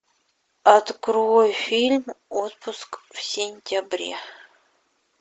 открой фильм отпуск в сентябре